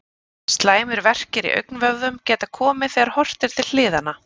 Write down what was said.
Slæmir verkir í augnvöðvum geta komið þegar horft er til hliðanna.